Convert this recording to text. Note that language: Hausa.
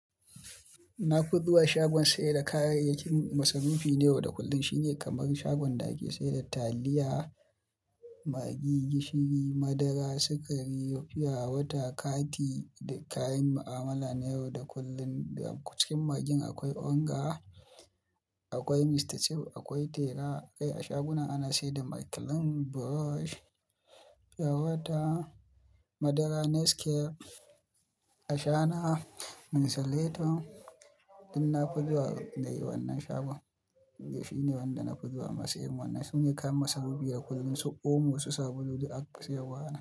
Nafi zuwa shagon sayar da kayayyakin masa rufi na yau da kullum. Shi ne kamar shagon da ake sayar da taliya, magi, gishiri, madara, sukari, fiyawata, kati da kayan ma'amala na yau da kullum. Ko cikin magin akwai Onga, akwai Mr Chip, akwai tera. Kai a shagunan ana sayar da Maclean, Brush, fiyawata, madara Nescafe, ashana, minsileto. Danna fi zuwa dai wannan shagon. Shi ne wanda na fi zuwa. Masu yin wannan sune kayan masu rufi na yau da kullum. Su omo, su sabulu duk ana sayarwa a nan.